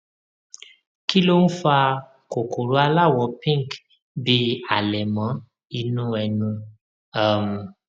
kí ló ń fa kòkòrò aláwọ pink bíi àlẹmọ inú ẹnu um